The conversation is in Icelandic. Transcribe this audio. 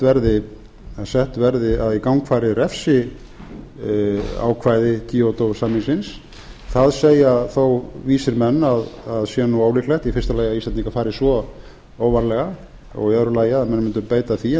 auðvitað vel verið að í gang fari refsiákvæði kyoto samningsins það segja þó vísir menn að það sé ólíklegt í fyrsta lagi að íslendingar fari svo óvarlega í öðru lagi að menn mundu beita því